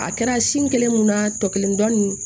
A kɛra sin kelen mun na tɔ kelen dɔ nin